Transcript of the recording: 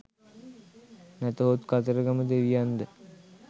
නැතහොත් කතරගම දෙවියන්ද?